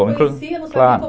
Não conhecia, não sabia como